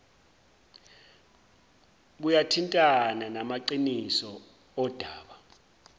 buyathintana namaqiniso odaba